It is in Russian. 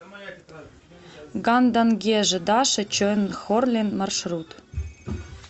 гандан геже даши чойнхорлин маршрут